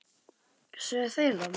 Sögðu þeir það?